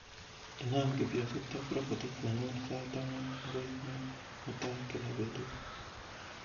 inaam kifyonzit ab robotit nenyun sait ang'wan agoi muut mutai kila betut